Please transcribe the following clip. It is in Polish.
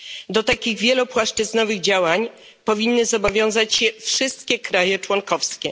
Do takich wielopłaszczyznowych działań powinny zobowiązać się wszystkie kraje członkowskie.